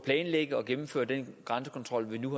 planlægge og gennemføre den grænsekontrol vi nu